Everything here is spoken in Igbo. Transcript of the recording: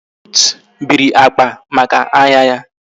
Ruth biri akpa maka ahia ya